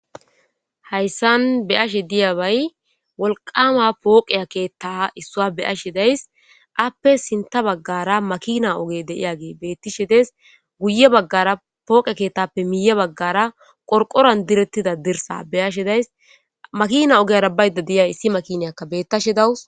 hayssan beashe diya bay wolqama pooqeya keetta issua beashe days appe sinta baggara makina oge deiyagee beettishe des guye baggara pooqea keettappe miiye baggara qorqoran direttida dirsa beyashe days makina ogeyara baydda deyay issi makiniyakka bettashe dawus